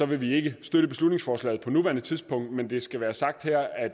vil vi ikke støtte beslutningsforslaget på nuværende tidspunkt men det skal være sagt her at